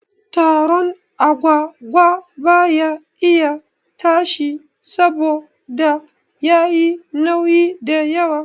Toron agwagwa baya iya tashi saboda yayi nauyi da yawa